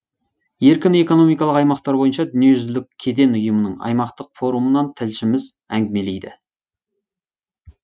еркін экономикалық аймақтар бойынша дүниежүзілік кеден ұйымының аймақтық форумынан тілшіміз әңгілемейді